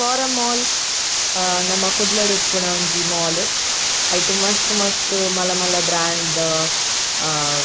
forum mall ಅಹ್ ನಮ ಕುಡ್ಲಡ್ ಇಪ್ಪುನ ಒಂಜಿ ಮಾಲ್ ಐಟ್ ಮಸ್ತ್ ಮಸ್ತ್ ಮಲ್ಲ ಮಲ್ಲ ಬ್ರ್ಯಾಂಡ್ ಅಹ್ --